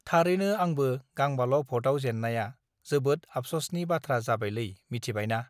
थारैनो आंबो गांबाल भतआव जेन्नाया जाबोद आबससनि बाथ्रा जाबायलै मिथिबायना